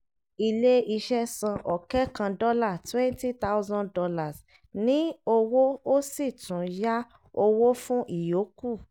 ilé iṣẹ́ san ọ̀kẹ́ kan dọ́là ($20000) ní owó ó sì tún yá owó fún ìyókù.